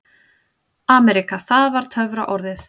AMERÍKA það var töfraorðið.